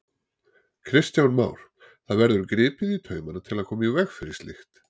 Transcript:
Kristján Már: Það verður gripið í taumana til að koma í veg fyrir slíkt?